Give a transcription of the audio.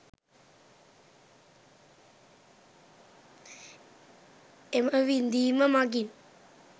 එම විඳීම මඟින්